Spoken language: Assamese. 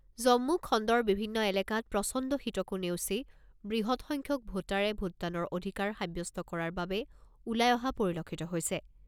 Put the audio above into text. জম্মু খণ্ডৰ বিভিন্ন এলেকাত প্ৰচণ্ড শীতকো নেওচি বৃহৎ সংখ্যক ভোটাৰে ভোটদানৰ অধিকাৰ সাব্যস্ত কৰাৰ বাবে ওলাই অহা পৰিলক্ষিত হৈছে।